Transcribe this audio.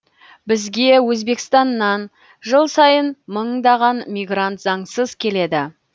бізге өзбекстаннан жыл сайын мыңдаған мигрант заңсыз келеді